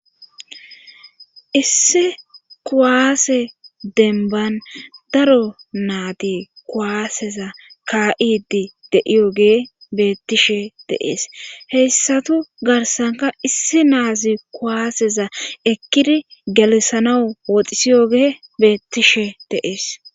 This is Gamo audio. Issi kuwaase denban daro naadi kuwaaseza ka7idi deiyogee beettishe deees heyssatu garsanka issi naazi kuwaaseza ekkidi galissanau woxisiyo gee beettishe deees